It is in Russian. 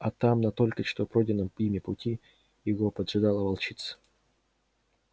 а там на только что пройденном ими пути его поджидала волчица